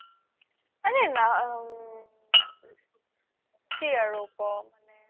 আৰে কি আৰু ক্'ম মানে